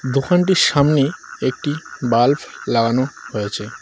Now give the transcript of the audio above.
দোকানটির সামনে একটি বাল্ব লাগানো হয়েছে।